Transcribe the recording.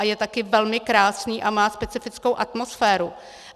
A je taky velmi krásný a má specifickou atmosféru.